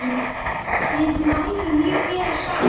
Við náðum mjög vel saman.